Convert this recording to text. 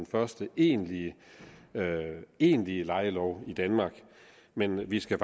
første egentlige egentlige lejelov i danmark men vi skal